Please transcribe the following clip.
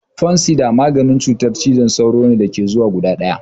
Fansidar maganin cutar cizon sauro ne da ke zuwa guda ɗaya.